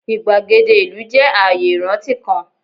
igbagede ilu jẹ aaye iranti kan